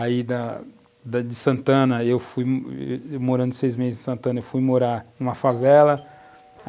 Aí, da de Santana, eu fui... morando seis meses em Santana, eu fui morar numa favela.